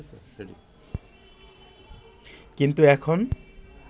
কিন্তু এখন